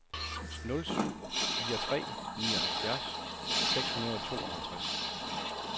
nul syv fire tre nioghalvfjerds seks hundrede og tooghalvtreds